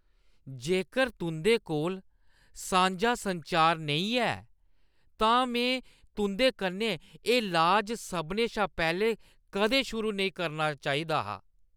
जेकर तुंʼदे कोल सांझा संचार नेईं है तां में तुंʼदे कन्नै एह् लाज सभनें शा पैह्‌लें कदें शुरू नेईं करना चाहिदा हा।